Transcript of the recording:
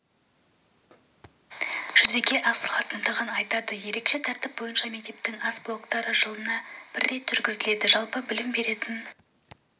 жүзеге асырылатындығын айтады ерекше тәртіп бойынша мектептің ас блоктары жылына рет жүргізіледі жалпы білім беретін